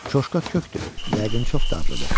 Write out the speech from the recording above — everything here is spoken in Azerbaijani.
Çoşka kökdür, yəqin çox dadlıdır.